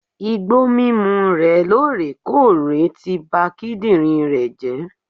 Igbó mímu re lorèkóòrè ti ba kídìnrín rè jé